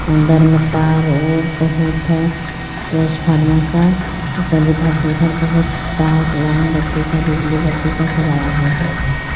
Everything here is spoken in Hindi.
अंदर मे तार और बहुत हे ट्रांसफार्म का सब इधर से उधर बहुत तार लाइन बत्ती का बिजली बत्तीका सब आया हुआ हे.